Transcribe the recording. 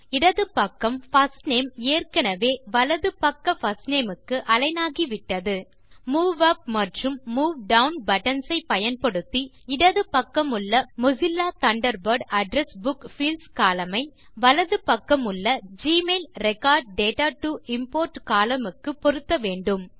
இடது பக்கம் first name ஏற்கெனெவே வலது பக்க பிர்ஸ்ட் நேம் க்கு அலிக்ன் ஆகிவிட்டது மூவ் உப் மற்றும் மூவ் டவுன் பட்டன்ஸ் ஐ பயன்படுத்தி இடது பக்கமுள்ள Mozilla Thunderbird address book fields column ஐ வலது பக்கமுள்ள Gmail record data to import column க்கு பொருத்த வேண்டும்